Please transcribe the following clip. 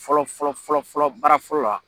Fɔlɔ fɔlɔ fɔlɔ fɔlɔ baara fɔlɔ la